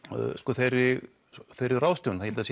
þeirri þeirri ráðstöfun ég held að